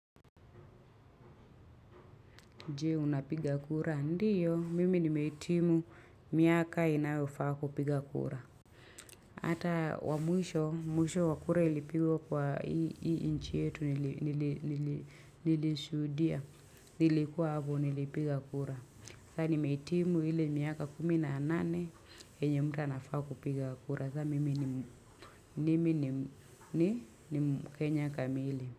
Je, u napiga kura? Ndio, mimi ni mehitimu miaka inayofaa kupiga kura. Ata wa mwisho mwisho wa kura ilipigwa kwa hii nchi yetu nilishudia. Nilikuwa hapo, nilipiga kura. Nilikua nimehitimu ile miaka kumi na nane yenye mtu anafaa kupiga kura sa mimi ni mkenya kamili. Kwa hiyo.